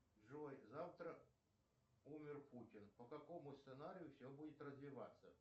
джой завтра умер путин по какому сценарию все будет развиваться